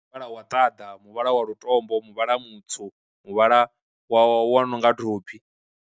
Muvhala wa ṱaḓa, muvhala wa lutombo, muvhala mutswu, muvhala wa wa nonga thophi.